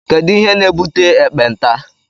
Kedụ ihe na-ebute ekpenta?